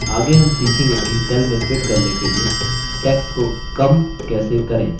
आगे हम सीखेंगे कि cell में fit करने के लिए text को कम shrink कैसे करें